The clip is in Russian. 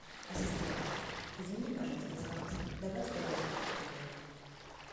ассистент измени пожалуйста заказ добавь тарелку фруктовую